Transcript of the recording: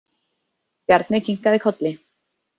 Bjarni kinkaði kolli.